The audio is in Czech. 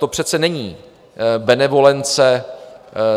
To přece není benevolence